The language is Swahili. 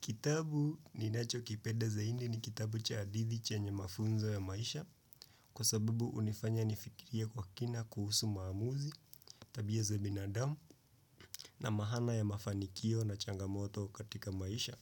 Kitabu ninacho kipeda zahindi ni kitabu cha adithi chenye mafunzo ya maisha kwa sababu unifanya nifikirie kwa kina kuhusu maamuzi, tabia za binadamu na mahana ya mafanikio na changamoto katika maisha.